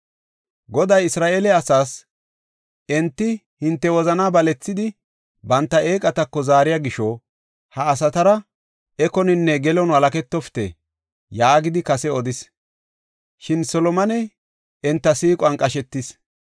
Goday Isra7eele asaas, “Enti hinte wozana balethidi banta eeqatako zaariya gisho ha asatara ekoninne gelon walaketofite” yaagidi kase odis. Shin Solomone enta siiquwan qashetis.